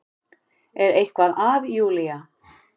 Er eitthvað að Júlía?